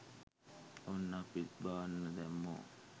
ඔන්න අපිත් බාන්න දැම්මෝ